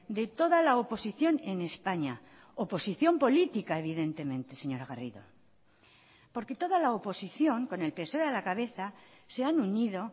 de toda la oposición en españa oposición política evidentemente señora garrido porque toda la oposición con el psoe a la cabeza se han unido